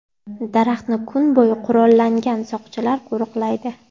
Daraxtni kun bo‘yi qurollangan soqchilar qo‘riqlaydi.